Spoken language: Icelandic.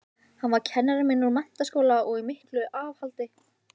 Hann var kennari minn úr menntaskóla og í miklu afhaldi.